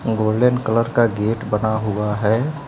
Golden colour का gate बना हुआ है।